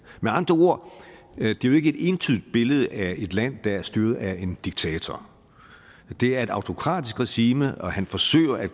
med andre ord er det jo ikke et entydigt billede af et land der er styret af en diktator det er et autokratisk regime og han forsøger at